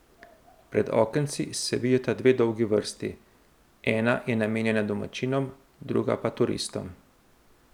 Pred okenci se vijeta dve dolgi vrsti, ena je namenjena domačinom, druga pa turistom.